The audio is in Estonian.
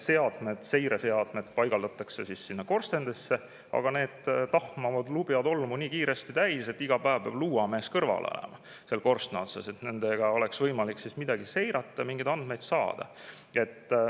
Seireseadmed paigaldatakse sinna korstendesse, mis tahmavad, ja on lubjatolmu nii kiiresti täis, et iga päev peab luuamees kõrval olema seal korstna otsas, et nendega oleks võimalik midagi seirata, mingeid andmeid saada.